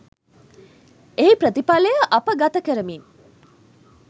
එහි ප්‍රතිඵලය අප ගතකරමින්